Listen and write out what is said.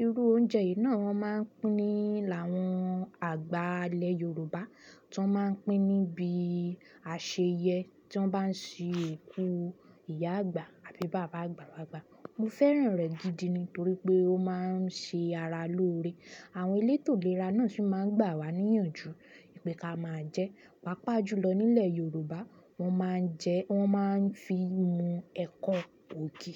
Irú oúnjẹ yìí náà máa ń pín ní àwọn àgbà ilẹ̀ Yorùbá, tí wọ́n máa ń pín níbi àṣeyẹ tí wọ́n bá ń ṣe òkú ìyá àgbà àbí bàbá àgbà. Mo fẹ́ràn rẹ̀ gidi ni torí pé ó máa ń ṣe ara lóore. Àwọn elétò ìlera náà sì máa ń gbà wá níyànjú pé ká máa jẹ. Pápá jùlọ nílẹ̀ Yorùbá, wọ́n máa ń jẹ, wọ́n máa ń fi mu ẹ̀kọ ògì.